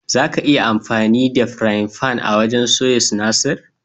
Zaka iya amfani da firayin fan wajen soya sinasir.